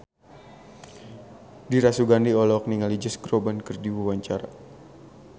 Dira Sugandi olohok ningali Josh Groban keur diwawancara